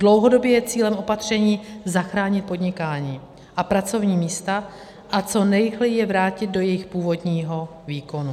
Dlouhodobě je cílem opatření zachránit podnikání a pracovní místa a co nejrychleji je vrátit do jejich původního výkonu.